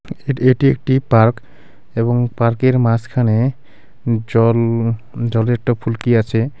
এটি এটি একটি পার্ক এবং পার্কের মাঝখানে জল জলের একটা ফুলকি আছে।